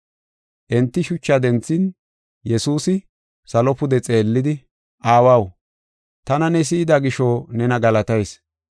Enti shucha denthin Yesuusi salo pude xeellidi, “Aawaw, tana ne si7ida gisho nena galatayis.